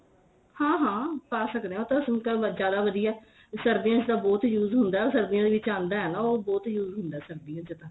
ਹਾਂ ਹਾਂ ਪਾ ਸਕਦੇ ਆ ਉਹ ਤਾਂ ਸੁਕਾ ਜਿਆਦਾ ਵਧੀਆ ਸਰਦੀਆਂ ਚ ਬਹੁਤ ਈ use ਹੁੰਦਾ ਉਹ ਸਰਦੀਆਂ ਦੇ ਵਿੱਚ ਆਂਦਾ ਏ ਨਾ ਉਹ ਬਹੁਤ use ਹੁੰਦਾ ਸਰਦੀਆਂ ਚ ਤਾਂ